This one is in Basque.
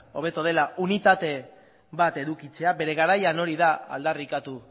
hobetu dela unitate bat edukitzea bere garaian hori da aldarrikatu